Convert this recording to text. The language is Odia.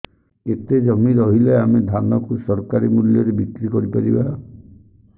କେତେ ଜମି ରହିଲେ ଆମେ ଧାନ କୁ ସରକାରୀ ମୂଲ୍ଯରେ ବିକ୍ରି କରିପାରିବା